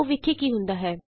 ਆਉ ਵੇਖੀਏ ਕੀ ਹੁੰਦਾ ਹੈ